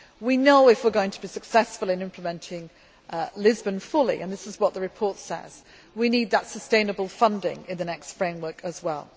We know that, if we are going to be successful in implementing Lisbon fully and this is what the report says we need that sustainable funding in the next framework as